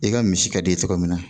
I ka misi ka den tɔgɔ min na